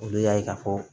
Olu y'a ye ka fɔ